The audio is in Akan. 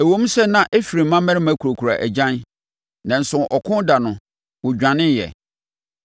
Ɛwom sɛ na Efraim mmarima kurakura agyan, nanso ɔko da no, wɔdwaneeɛ;